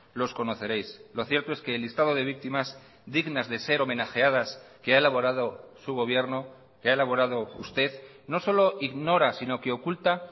los conoceréis lo cierto es que el listado de víctimas dignas de ser homenajeadas que ha elaborado su gobierno que ha elaborado usted no solo ignora sino que oculta